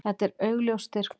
Þetta er augljós styrkur.